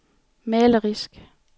malerisk